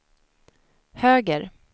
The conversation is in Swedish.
höger